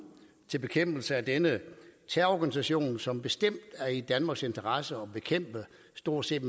til bekæmpelse af denne terrororganisation som bestemt er i danmarks interesse at bekæmpe med stort set